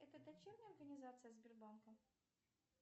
это дочерняя организация сбербанка